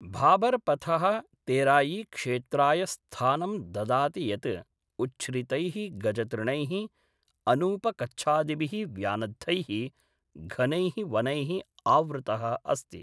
भाबर् पथः तेरायीक्षेत्राय स्थानं ददाति यत् उच्छ्रितैः गजतृणैः, अनूपकच्छादिभिः व्यानद्धैः घनैः वनैः आवृतः अस्ति।